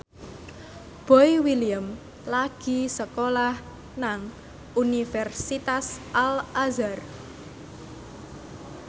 Boy William lagi sekolah nang Universitas Al Azhar